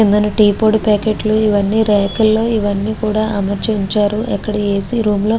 కిందన టీ పొడి ప్యాకెట్లు ఇవన్నీ రేక ల్లో ఇవన్నీ కూడా అమరచింత ఉండ్చారు. ఎక్కడ ఏసి రూమ్ లో --